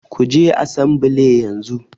Kuje asambile yanzu